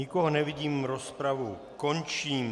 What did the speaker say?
Nikoho nevidím, rozpravu končím.